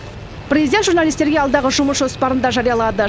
президент журналистерге алдағы жұмыс жоспарын да жариялады